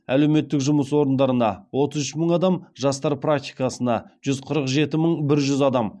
әлеуметтік жұмыс орындарына отыз үш мың адам жастар практикасына жүз қырық жеті мың бір жүз адам